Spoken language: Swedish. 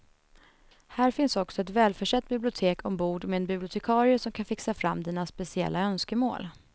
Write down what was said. Här finns också ett välförsett bibliotek ombord med en bibliotekarie som kan fixa fram dina speciella önskemål.